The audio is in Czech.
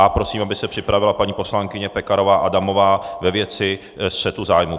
A prosím, aby se připravila paní poslankyně Pekarová Adamová ve věci střetu zájmu.